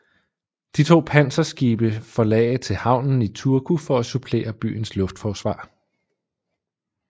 De to panserskibe forlagde til havnen i Turku for at supplere byens luftforsvar